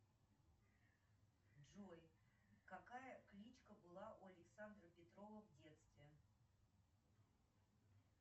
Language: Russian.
джой какая кличка была у александра петрова в детстве